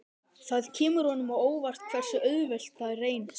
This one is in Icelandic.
Það kemur honum á óvart hversu auðvelt það reynist.